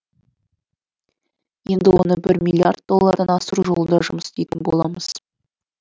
енді оны бір миллиард доллардан асыру жолында жұмыс істейтін боламыз